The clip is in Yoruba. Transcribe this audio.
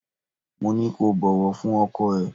Mo ní kó bọ̀wọ̀ fún ọkọ ẹ.